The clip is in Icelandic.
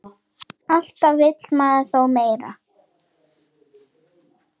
Alltaf vill maður þó meira.